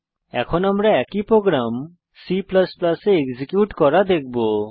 এখন আমরা একই প্রোগ্রাম C এ এক্সিকিউট করা দেখবো